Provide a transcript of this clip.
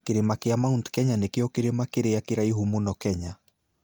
Kĩrĩma kĩa Mount Kenya nĩkĩo kĩrĩma kĩrĩa kĩraihu mũno Kenya.